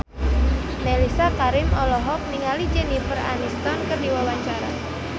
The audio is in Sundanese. Mellisa Karim olohok ningali Jennifer Aniston keur diwawancara